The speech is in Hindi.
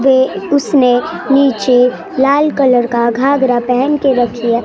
उसने नीचे लाल कलर का घाघरा पहन के रखी है।